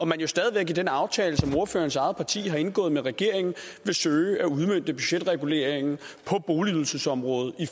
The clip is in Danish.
man jo stadig væk i den aftale som ordførerens eget parti har indgået med regeringen vil søge at udmønte budgetreguleringen på boligydelsesområdet i